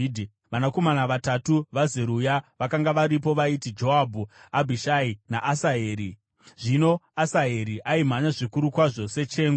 Vanakomana vatatu vaZeruya vakanga varipo vaiti: Joabhu, Abhishai naAsaheri. Zvino Asaheri aimhanya zvikuru kwazvo sechengu.